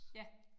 Ja